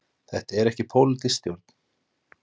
Þetta er ekki pólitísk stjórn.